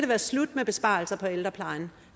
være slut med besparelser på ældreplejen